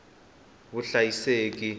vuhlayiseki